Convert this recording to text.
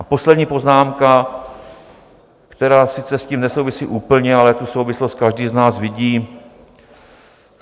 A poslední poznámka, která s tím sice nesouvisí úplně, ale tu souvislost každý z nás vidí.